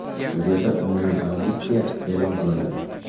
Suriyada umumiy amnistiya e’lon qilindi.